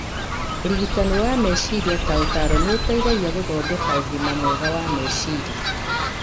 Ũrigitani wa meciria ta ũtaaro nĩ ũteithagia gũthondeka ũgima mwega wa meciria.